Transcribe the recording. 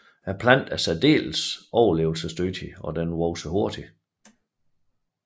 Planten er særdeles overlevelsesdygtig og vokser hurtigt